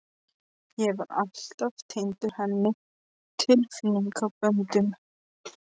Ég var alltaf tengdur henni tilfinningaböndum.